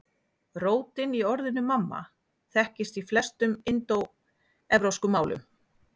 Rótin í orðinu mamma þekkist í flestum indóevrópskum málum.